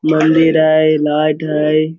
मंदिर है लाइट है।